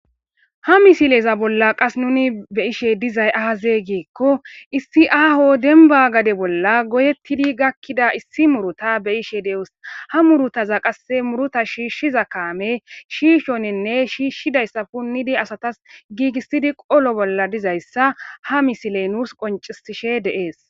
Ha misileza bolla qas nuni be7ishe dizay aazee giikko issi aaho dembba gade bolla goyeththidi gakkida issi murutha be7ishe de7oos; ha muruthaza qasse murutha shiishshiza kaamee shiishoninne shiishshidayssa punnidi asathas giigissidi qolo bolla dizayssa ha misile nuus qonccissishe de7ees.